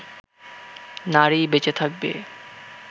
নারী বেঁচে থাকবে